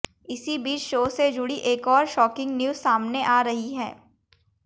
इसी बीच शो से जुड़ी एक और शॉकिंग न्यूज सामने आ रही है